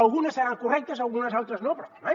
algunes seran correctes algunes altres no però home